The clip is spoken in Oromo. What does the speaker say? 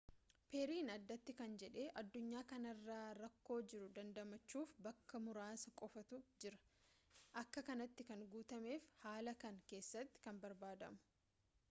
perry'n addati kan jedhe addunyaa kanara rakkoo jiru dandamachuuf bakka muraasa qofaatu jiraa akka kanatti kan guutameef haala kana keessatti kan barbaadamu